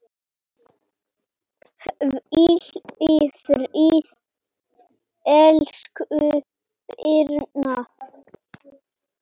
Hvíl í friði, elsku Birna.